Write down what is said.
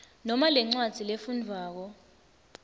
noma lencwadzi lefundvwako